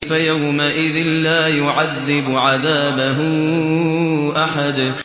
فَيَوْمَئِذٍ لَّا يُعَذِّبُ عَذَابَهُ أَحَدٌ